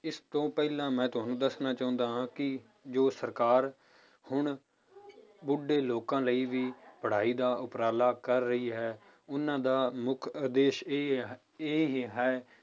ਇਸ ਤੋਂ ਪਹਿਲਾਂ ਮੈਂ ਤੁਹਾਨੂੰ ਦੱਸਣਾ ਚਾਹੁੰਦਾ ਹਾਂ ਕਿ ਜੋ ਸਰਕਾਰ ਹੁਣ ਬੁੱਢੇ ਲੋਕਾਂ ਲਈ ਵੀ ਪੜ੍ਹਾਈ ਦਾ ਉਪਰਾਲਾ ਕਰ ਰਹੀ ਹੈ ਉਹਨਾਂ ਦਾ ਮੁੱਖ ਉਦੇਸ਼ ਇਹ ਇਹ ਹੀ ਹੈ